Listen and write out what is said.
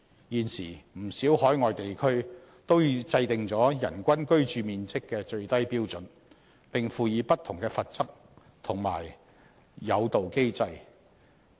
現時，不少海外地區都已制訂人均居住面積的最低標準，並輔以不同的罰則及誘導機制。